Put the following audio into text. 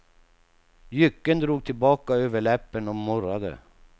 Jycken drog tillbaka överläppen och morrade.